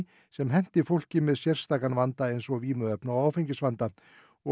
sem henti fólki með sérstakan vanda eins og vímuefna og áfengisvanda og